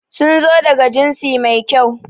Sun zo daga jinsi mai kyau.